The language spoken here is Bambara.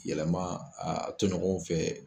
Yɛlɛma a toɲɔgɔnw fɛ